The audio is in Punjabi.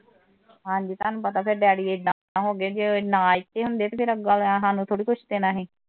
ਹਾਂ ਜੀ ਤੁਹਾਨੂੰ ਪਤਾ ਫਿਰ ਡੈਡੀ ਏਦਾ ਦੇ ਹੋ ਗਏ ਕਿ ਜੇ ਇੱਥੇ ਨਾ ਹੁੰਦੇ ਤਾਂ ਫੇਰ ਅੱਗ ਵਾਲਿਆਂ ਨੇ ਸਾਨੂੰ ਥੋੜ੍ਹਾ ਕੁਝ ਦੇਣਾ ਸੀ।